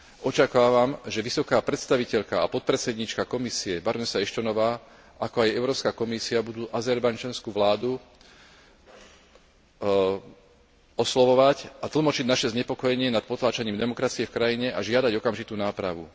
Očakávam, že vysoká predstaviteľka a podpredsedníčka Komisie barónka Ashtonová, ako aj Európska komisia budú azerbajdžanskú vládu oslovovať a tlmočiť naše znepokojenie nad potláčaním demokracie v krajine a žiadať okamžitú nápravu.